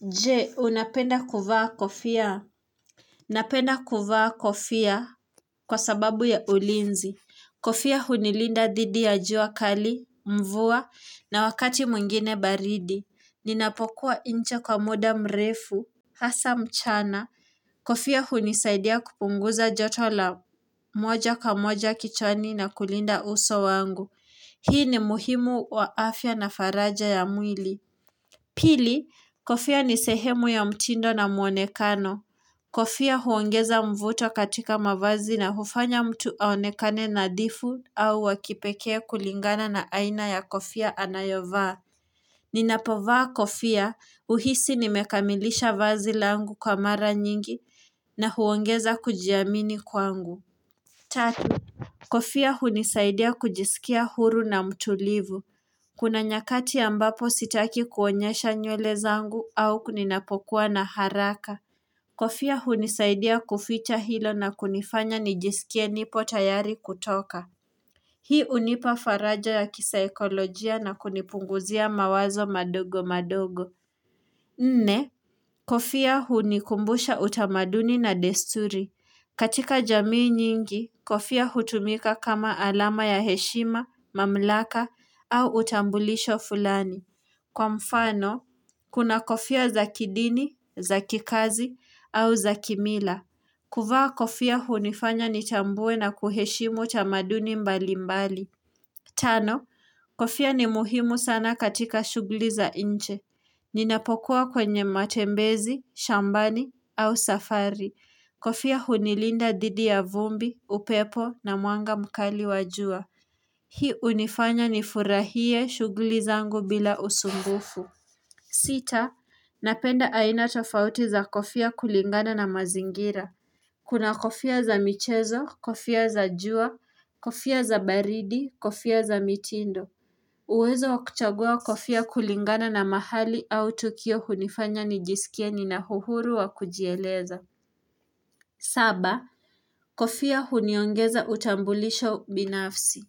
Je, unapenda kuvaa kofia? Napenda kuvaa kofia kwa sababu ya ulinzi. Kofia hunilinda dhidi ya jua kali, mvua, na wakati mwingine baridi. Ninapokuwa nje kwa muda mrefu. Hasa mchana. Kofia hunisaidia kupunguza joto la moja kwa moja kichwani na kulinda uso wangu. Hii ni muhimu wa afya na faraja ya mwili. Pili, kofia ni sehemu ya mtindo na mwonekano. Kofia huongeza mvuto katika mavazi na hufanya mtu aonekane na dhifu au wakipekee kulingana na aina ya kofia anayovaa. Ninapovaa kofia uhisi nimekamilisha vazi langu kwa mara nyingi na huongeza kujiamini kwangu. Tatu, kofia hunisaidia kujisikia huru na mtulivu. Kuna nyakati ambapo sitaki kuonyesha nywele zangu au kuninapokuwa na haraka. Kofia hunisaidia kuficha hilo na kunifanya nijisikie nipo tayari kutoka. Hii unipa faraja ya kisa ekolojia na kunipunguzia mawazo madogo madogo. Nne, kofia hunikumbusha utamaduni na desturi. Katika jamii nyingi, kofia hutumika kama alama ya heshima, mamlaka au utambulisho fulani. Kwa mfano, kuna kofia za kidini, za kikazi au za kimila. Kuvaa kofia hunifanya nitambue na kuheshimu tamaduni mbali mbali. Tano, kofia ni muhimu sana katika shugli za nje. Ninapokuwa kwenye matembezi, shambani au safari. Kofia hunilinda dhidi ya vumbi, upepo na mwanga mkali wajua. Hii unifanya nifurahie shugli zangu bila usumbufu. Sita, napenda aina tofauti za kofia kulingana na mazingira. Kuna kofia za michezo, kofia za jua, kofia za baridi, kofia za mitindo. Uwezo wakuchagua kofia kulingana na mahali au tukio hunifanya nijisikie nina uhuru wa kujieleza. Saba, kofia huniongeza utambulisho binafsi.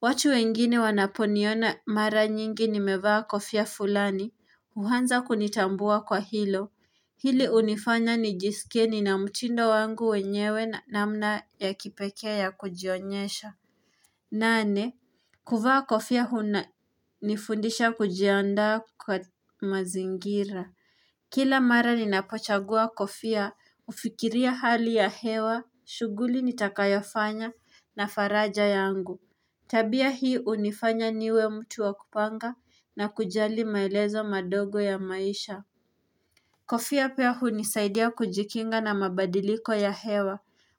Watu wengine wanaponiona mara nyingi nimevaa kofia fulani, uhanza kunitambua kwa hilo. Hili unifanya nijisikie nina mtindo wangu wenyewe namna ya kipekee ya kujionyesha. Nane, kuvaa kofia huna nifundisha kujiandaa kwa mazingira. Kila mara nina pochagua kofia, ufikiria hali ya hewa, shuguli nitakayofanya na faraja yangu. Tabia hii unifanya niwe mtu wa kupanga na kujali maelezo madogo ya maisha Kofia pia hunisaidia kujikinga na mabadiliko ya hewa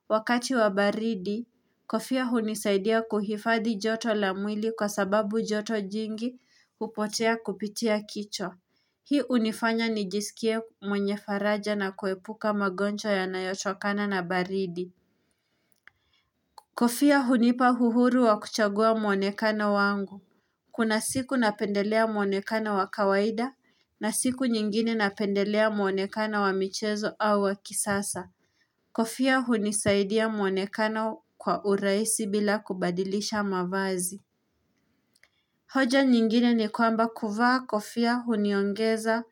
Wakati wa baridi, kofia hunisaidia kuhifadhi joto la mwili kwa sababu joto jingi upotea kupitia kichwa Hii unifanya nijisikie mwenye faraja na kuepuka magonjwa yanayotokana na baridi Kofia hunipa uhuru wa kuchagua mwonekano wangu Kuna siku napendelea mwonekano wa kawaida na siku nyingine napendelea mwonekano wa michezo au wa kisasa. Kofia hunisaidia mwonekano kwa uraisi bila kubadilisha mavazi. Hoja nyingine ni kwamba kuvaa kofia huniongeza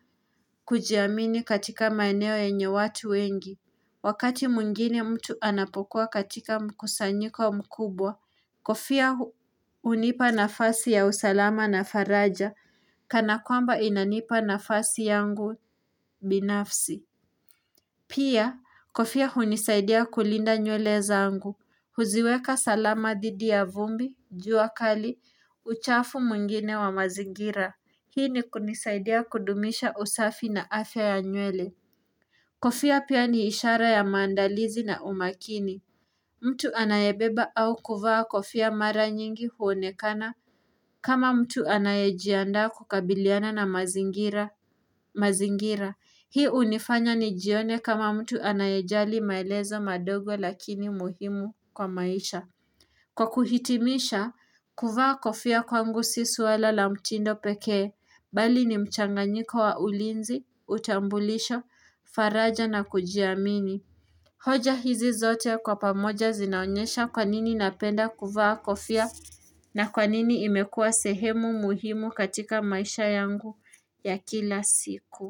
kujiamini katika maeneo yenye watu wengi. Wakati mwingine mtu anapokuwa katika mkusanyiko mkubwa. Kofia unipa nafasi ya usalama na faraja, kana kwamba inanipa nafasi yangu binafsi. Pia, kofia unisaidia kulinda nywele zangu. Huziweka salama dhidi ya vumbi, jua kali, uchafu mwingine wa mazigira. Hii ni kunisaidia kudumisha usafi na afya ya nywele. Kofia pia ni ishara ya maandalizi na umakini. Mtu anayebeba au kuvaa kofia mara nyingi huonekana kama mtu anayejiandaa kukabiliana na mazingira. Hii unifanya ni jione kama mtu anayejali maelezo madogo lakini muhimu kwa maisha. Kwa kuhitimisha, kuvaa kofia kwangu si suala la mtindo pekee, bali ni mchanganyiko wa ulinzi, utambulisho, faraja na kujiamini. Hoja hizi zote kwa pamoja zinaonyesha kwanini napenda kuvaa kofia na kwanini imekuwa sehemu muhimu katika maisha yangu ya kila siku.